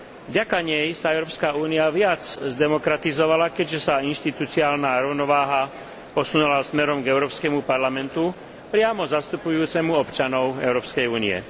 Vďaka nej sa Európska únia viac zdemokratizovala, keďže sa inštitucionálna rovnováha posunula smerom k Európskemu parlamentu priamo zastupujúcemu občanov Európskej únie.